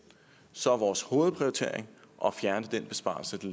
så er vores hovedprioritering at fjerne den besparelse der